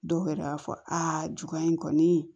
Dɔw yɛrɛ b'a fɔ aa juguya in kɔni